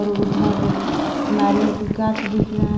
और उधर नारियल की गाछ दिख रहा--